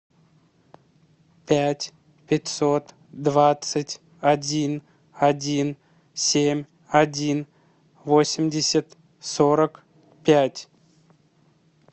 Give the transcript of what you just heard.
пять пятьсот двадцать один один семь один восемьдесят сорок пять